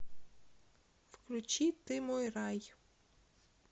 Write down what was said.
включи ты мой рай